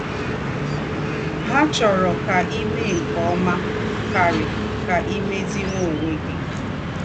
Hà chòrò ká í méè nké ọ́mà kárì, ká í mézìwànyé ònwé gí.